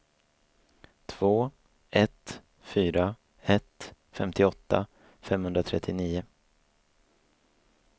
två ett fyra ett femtioåtta femhundratrettionio